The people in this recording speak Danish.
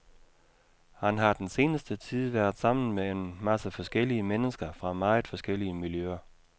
Han har den seneste tid været sammen med en masse forskellige mennesker fra meget forskellige miljøer.